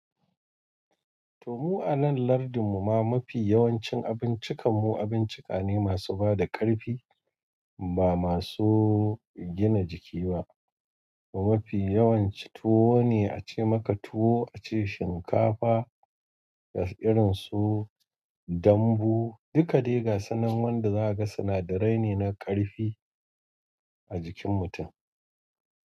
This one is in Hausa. To mu a nan lardin mu ma mafi yawancin abincikan mu abincika ne masu bada ƙarfi ba masu gina jiki ba. Mafi yawanci tuwo ne ace maka tuwo ace shinkafa da irin su dambu. Duka dai gasunan wanda zaka ga sinadarai ne na ƙarfi a jikin mutum.